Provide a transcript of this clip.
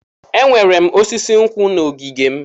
Enwere m osisi nkwụ n'ogige m.